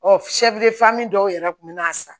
dɔw yɛrɛ kun bɛ na sa